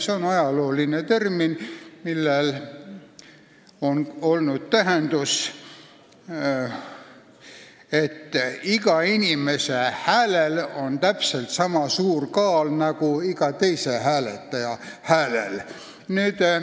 See on ajalooline termin, millel on olnud see tähendus, et iga inimese häälel on täpselt niisama suur kaal nagu iga teise hääletaja häälel.